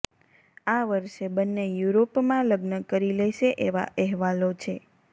આ વર્ષે બંને યુરોપમાં લગ્ન કરી લેશે એવા અહેવાલો છે